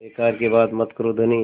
बेकार की बात मत करो धनी